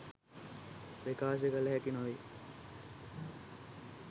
ප්‍රකාශ කල හැකි නොවේ.